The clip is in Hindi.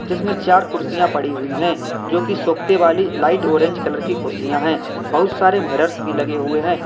जिसमें चार कुर्सियां पड़ी हुई है जो की सोखते वाली लाइट ऑरेंज कलर की कुर्सियां है बहुत सारे मिरर्स भी लगे हुए हैं।